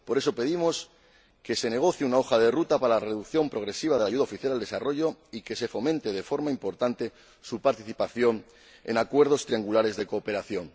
Por eso pedimos que se negocie una hoja de ruta para la reducción progresiva de la ayuda oficial al desarrollo y que se fomente de forma importante su participación en acuerdos triangulares de cooperación